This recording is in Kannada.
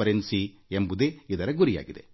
ದರ ಮತ್ತು ಗರಿಷ್ಠ ನೆಮ್ಮದಿ ಸಾಮರ್ಥ್ಯ ಮತ್ತು ಪಾರದರ್ಶಕತೆಯಾಗಿದೆ